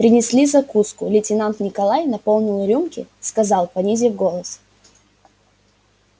принесли закуску лейтенант николай наполнил рюмки сказал понизив голос